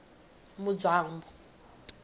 mudzwambu